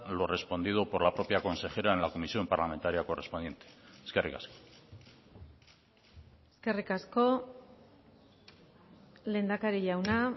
lo respondido por la propia consejera en la comisión parlamentaria correspondiente eskerrik asko eskerrik asko lehendakari jauna